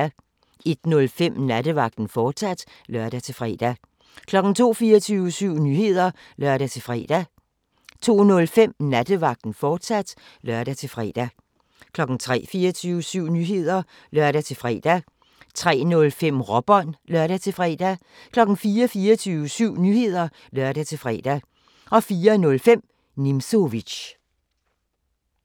01:05: Nattevagten, fortsat (lør-fre) 02:00: 24syv Nyheder (lør-fre) 02:05: Nattevagten, fortsat (lør-fre) 03:00: 24syv Nyheder (lør-fre) 03:05: Råbånd (lør-fre) 04:00: 24syv Nyheder (lør-fre) 04:05: Nimzowitsch